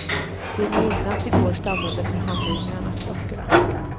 Vid midnatt i går stannade förhandlarna klockorna.